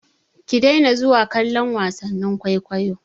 Ki daina zuwa kallon wasannin kwaikwayo!